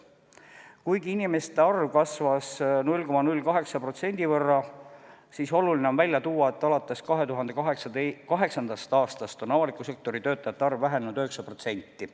Kuigi inimeste arv kasvas 0,08% võrra, on oluline välja tuua, et alates 2008. aastast on avaliku sektori töötajate arv vähenenud 9%.